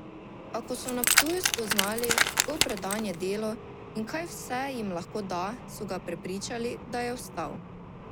A ko so na Ptuju spoznali, kako predan je delu in kaj vse jim lahko da, so ga prepričali, da je ostal.